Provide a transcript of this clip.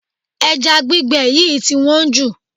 Ẹja gbígbẹ yìí tí wọ́n jù.